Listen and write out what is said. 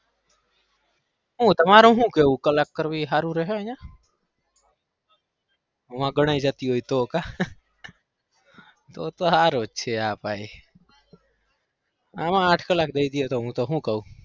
હું તમારૂ હુ કેવું કલાક કરવું એ હારું રેહે અહીંયા મોય ગણાઈ જતી હોય તો કા તો તો હારું જ છે આ ભાઈં આમાં આઠ કલાક દઈ દઈએ તો હું તો હુ કઉ?